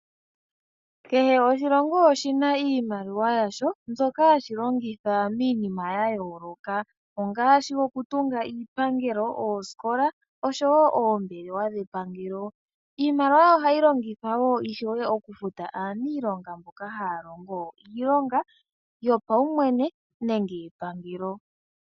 Kehe oshilongo oshina iimaliwa yaasho mbyoka hashi longitha miinima yayolokathana ngaashi okutunga iipangelo, oosikola nosho woo oombelewa dhepangelo. Iimaliwa oha yi longithwa woo oku futa aanilonga mboka haya longo iilonga yopawumwene nenge yepangelo.